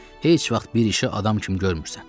Heç vaxt bir işi adam kimi görmürsən.